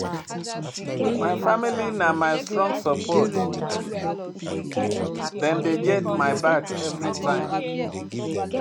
My family na my strong support, dem dey get my back everytime.